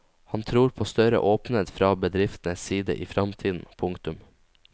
Han tror på større åpenhet fra bedriftenes side i fremtiden. punktum